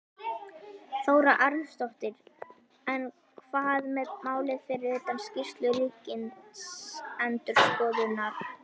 Þóra Arnórsdóttir: En hvað með málið fyrir utan skýrslu ríkisendurskoðunar?